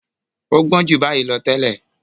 ọ́ gbọ́n ju báyìí lọ tẹ́lẹ̀.